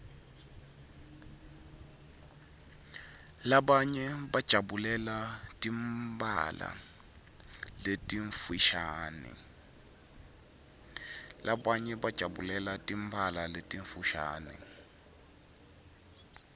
labanye bajabulela timphala letimfushane